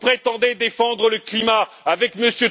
Vous prétendez défendre le climat avec M.